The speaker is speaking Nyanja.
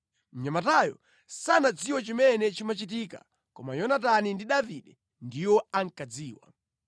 (Mnyamatayo sanadziwe chimene chimachitika koma Yonatani ndi Davide ndiwo ankadziwa).